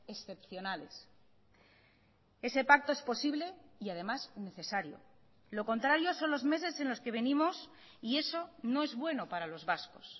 excepcionales ese pacto es posible y además necesario lo contrario son los meses en los que venimos y eso no es bueno para los vascos